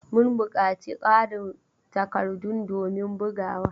Mun buƙaci ƙarin takardun domin bugawa.